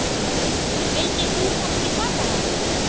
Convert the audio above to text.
Vildir þú kannski taka hann?